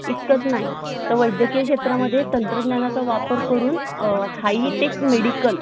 इतकच नाही तर वैद्यकीय क्षेत्रामध्ये तंत्रज्ञानाचा वापर करून High - tech Medical